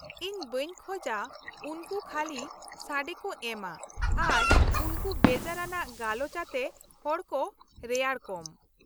-ᱤᱧ ᱵᱟᱹᱧ ᱠᱷᱚᱡᱼᱟ ᱩᱱᱠᱩ ᱠᱷᱟᱞᱤ ᱥᱟᱰᱮ ᱠᱚ ᱮᱢᱼᱟ ᱟᱨ ᱩᱱᱠᱩ ᱵᱮᱡᱟᱨ ᱟᱱᱟᱜ ᱜᱟᱞᱚᱪ ᱟᱛᱮ ᱦᱚᱲ ᱠᱚ ᱨᱮᱭᱟᱲ ᱠᱚᱢ ᱾